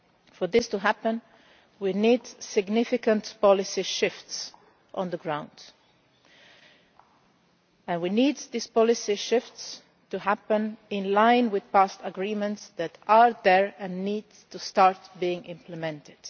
For this to happen we need significant policy shifts on the ground. We need this policy shift to happen in line with previous agreements that need to start being implemented.